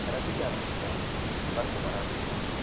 ரசிக்க ஆரம்பிச்சுட்டாங்க, வருத்தப்பட ஆரம்பிச்சுட்டாங்க